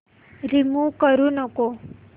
remove करू नको